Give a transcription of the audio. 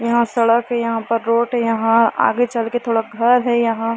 यहाँ पर सड़क है यहाँ पर रोड यहाँ आगे चल के थोड़ा घर है यहाँ--